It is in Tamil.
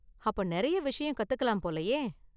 அப்ப நிறைய விஷயம் கத்துக்கலாம் போலயே!